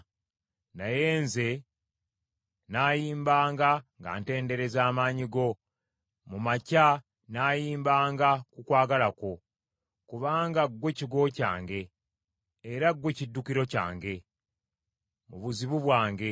Naye nze nnaayimbanga nga ntendereza amaanyi go; mu makya nnaayimbanga ku kwagala kwo; kubanga ggwe kigo kyange, era ggwe kiddukiro kyange mu buzibu bwange.